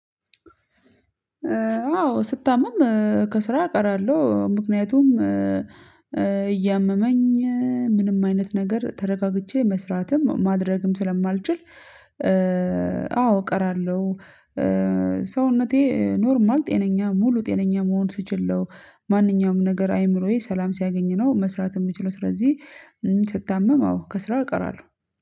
አዎ ስታመም ከስራ አቀራለሁ ምክንያቱም እያመመኝ ምንም አይነት ነገር ተረጋግቼ መስራትም ማድረግም ስለማልችል። አዎ እቀራለሁ። ሰውነቴ ኖርማል ጤነኛ ሙሉ ጤነኛ መሆን ስችል ማንኛውም ነገር አይምሮዬ ሰላም ሲያገኝ ነው መስራት የምችለው። ስለዚህ ስታመም አዎ ከስራ እቀራለሁ